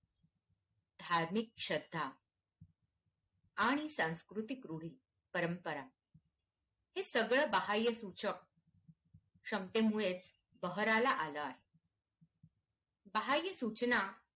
धार्मिक श्रद्धा आणि सांस्कृतिक रूढी परंपरा हे सगळं बाह्य सूचक क्षमतेमुळेच बहरायला आलं आहे बाह्य सूचना